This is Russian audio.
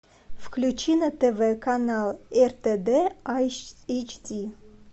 включи на тв канал ртд эйч ди